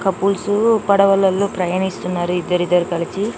Couples పడవలలో ప్రయాణిస్తున్నారు ఇద్దరు ఇద్దరు కలిసి .